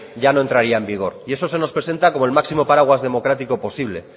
ya no entraría en vigor y eso se nos presenta como el máximo paraguas democrático posible